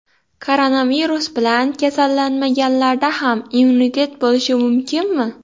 Koronavirus bilan kasallanmaganlarda ham immunitet bo‘lishi mumkinmi?